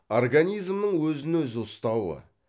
организмнің өзін өзі ұстауы